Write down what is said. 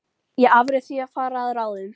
Ég afréð því að fara að ráðum